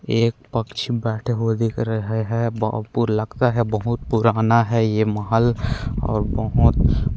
एक पक्षी बैठे हुए दिख रहे है अऊ पुर लगता है बहुत पुराना है ये महल और बहोत--